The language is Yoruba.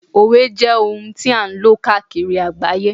òwe jé oun ti a n lo kaakiri agbaye